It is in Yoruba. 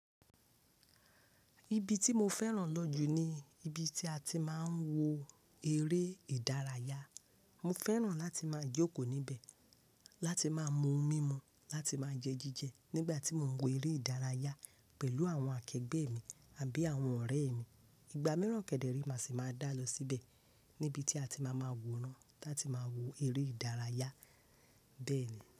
Ibi tí mo fẹ́ràn lọ jù ni ibi tí a ti máa ń wo eré ìdárayá. Mo fẹ́ràn láti máa jókòó níbẹ̀, láti máa mu mímu, láti máa jẹ jíjẹ nígbà tí mò ń wo eré ìdárayá pẹ̀lú àwọn akẹgbẹ́ mi àbí àwọn ọ̀rẹ́ mi. Ìgbà míràn kẹ̀dẹ́ re máa sì máa dá lọ síbẹ̀ níbi tí a ti máa máa wòó rán láti máa wo eré ìdárayá bẹ́ẹ̀ ni.